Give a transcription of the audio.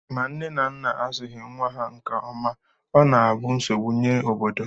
Ma nne na nna azụghị nnwa ha nke ọma, ọ na-abụ nsogbu nye obodo